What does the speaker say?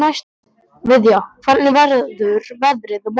Viðja, hvernig verður veðrið á morgun?